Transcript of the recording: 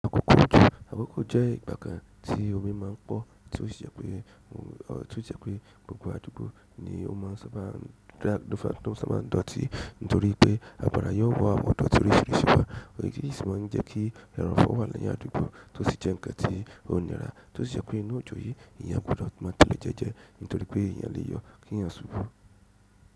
Akoko ojo jẹ́ ìgbà kan tí omi ma ń pọ̀ tí ó jẹ pé gbogbo àdúgbò ni ó má ń sábà dọ̀tí nítorí pé àgbàrà yóò wọ àwọn idọ́ti oriṣìrìṣí wà, èyí sì ma ń jẹ́ kí ẹrọ̀fọ̀ wà ni àdúgbò tó sì jẹ́ nǹkan tí ó nira, tó sì jẹ́ pé ní òjò yìí, èèyàn gbùdọ̀ má tẹlẹ jẹ́jẹ́ nítorí pé èèyàn léèyọ̀ kí èèyàn ṣubú.